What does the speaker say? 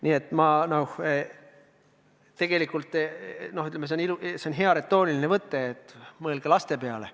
Nii et tegelikult on hea retooriline võte öelda, et mõelge laste peale.